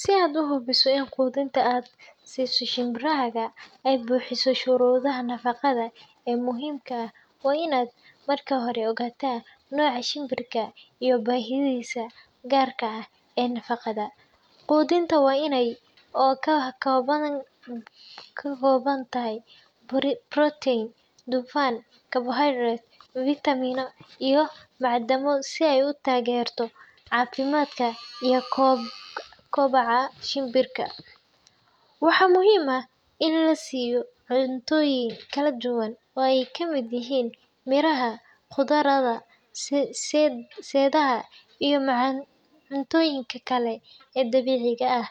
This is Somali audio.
Si aad u hubiso in quudinta aad siiso shimbirahaaga ay buuxiso shuruudaha nafaqada ee muhiimka ah, waa in aad marka hore ogaataa nooca shimbirka iyo baahiyihiisa gaarka ah ee nafaqada. Quudinta waa inay ka koobnaataa cunto isku dheelitiran oo ka kooban borotiin, dufan, carbohydrates, fiitamiino iyo macdano si ay u taageerto caafimaadka iyo kobaca shimbirka. Waxaa muhiim ah in la siiyo cuntooyin kala duwan oo ay ka mid yihiin miraha, khudradda, seedaha, iyo cuntooyinka kale ee dabiiciga ah